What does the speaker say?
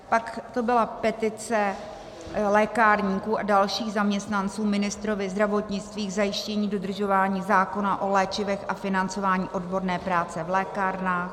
Pak to byla petice lékárníků a dalších zaměstnanců ministrovi zdravotnictví k zajištění dodržování zákona o léčivech a financování odborné práce v lékárnách.